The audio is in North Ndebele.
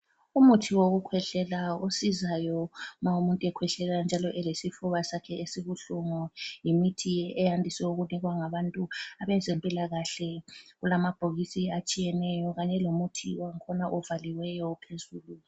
Umuthi wokukhwehlela osizayo ma umuntu ekhwehlela njalo elesifuba sakhe esibuhlungu ,yimithi eyandise ukunikwa ngabantu abezempilakahle ,kulamabhokisi atshiyeneyo kanye lomuthi wakhona ovaliweyo phezulu